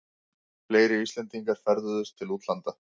Fleiri Íslendingar ferðuðust til útlanda